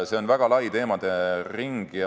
See on väga lai teemaring.